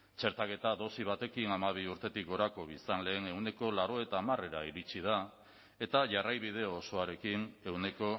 txertaketa dosi batekin hamabi urtetik gorako biztanleen ehuneko laurogeita hamarera iritsi da eta jarraibide osoarekin ehuneko